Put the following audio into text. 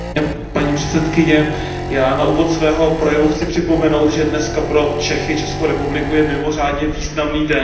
Paní předsedající, já na úvod svého projevu chci připomenout, že dnes pro Čechy, Českou republiku je mimořádně významný den.